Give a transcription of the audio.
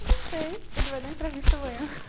Eu não sei, ele vai dar entrevista amanhã.